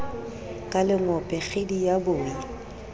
ka lengope kgidi ya boi